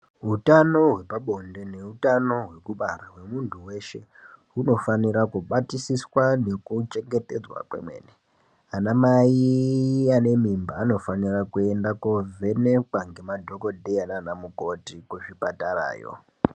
Utano hwepa bonde neutano hwekubara hwemuntu weshe hunofanira kubatisiswa nekuchengetedzwa kwemene amaiiii anemimba anofanira kuenda kovhenekwa ngemadhokodheya nanamukoti kuzvipatarayo.